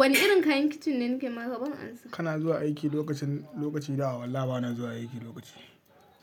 Wane irin kayan kicin ne nake ma ka ban ansa ba? Kana zuwa aiki lokacin, lokaci dawo wa? Wallahi bana zuwa aiki lokaci